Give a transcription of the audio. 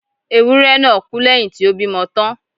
Ewúré náà kú lẹ́yìn tí ó bímọ tán